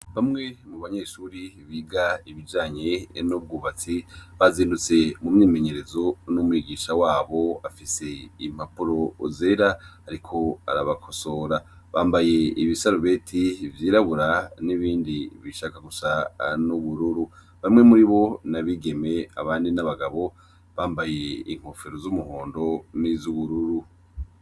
Bamwe mu banyeshuri biga ibijanye enobwubatsi bazindutse mu myimenyerezo n'umwigisha wabo afise impapuro zera, ariko arabakosora bambaye ibisarubeti vyirabura n'ibindi bishaka gusa n'ubururu bamwe muri bo na bigeme abandi n'abaga gabo bambaye inkofero z'umuhondo n'izo uwururu.